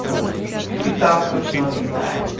та и так точно отлетает